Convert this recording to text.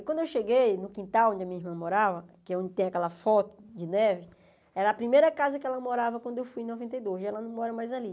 E quando eu cheguei no quintal onde a minha irmã morava, que é onde tem aquela foto de neve, era a primeira casa que ela morava quando eu fui em noventa e dois, e ela não mora mais ali.